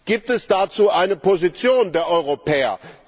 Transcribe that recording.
Gibt es dazu eine Position der Europäer?